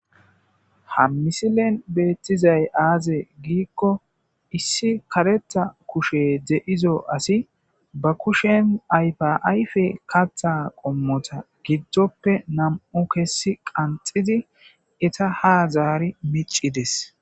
Ha missilen betizayi aze gikko issi karetha kusheyi de'izo assi ba kusheni ayifa ayifa katha qomota gidope nam'u kesi qanixidi etta ha mici deyesi